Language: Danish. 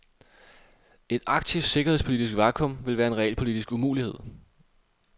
Et arktisk sikkerhedspolitisk vakum ville være en realpolitisk umulighed.